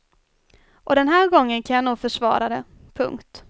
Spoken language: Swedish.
Och den här gången kan jag nog försvara det. punkt